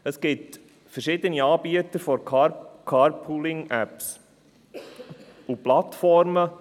Es gibt verschiedene Anbieter von Carpooling-Apps und Plattformen.